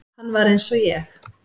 Hann var eins og ég.